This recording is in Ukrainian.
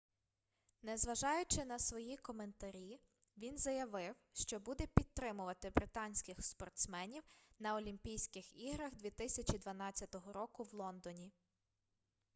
незважаючи на свої коментарі він заявив що буде підтримувати британських спортсменів на олімпійських іграх 2012 року в лондоні